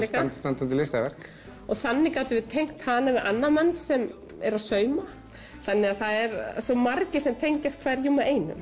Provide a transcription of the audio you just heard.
standandi listaverk þannig gátum við tengt hana við annan mann sem er að sauma það eru svo margir sem tengjast hverjum og einum